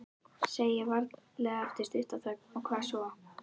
Segi varlega eftir stutta þögn: Og hvað svo?